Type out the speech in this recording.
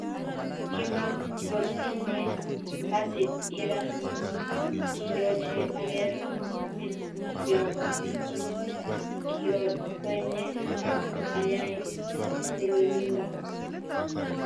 Kimagotinye kasit Ira- Kiyoche ager pityok, kiokwonye ag ayai tililindo.